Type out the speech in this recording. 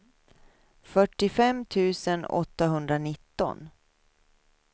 fyrtiofem tusen åttahundranitton